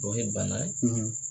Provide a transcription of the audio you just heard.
Dɔ ye bana ye.